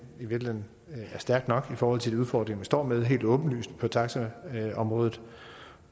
i virkeligheden er stærk nok i forhold til de udfordringer man står med helt åbenlyst på taxaområdet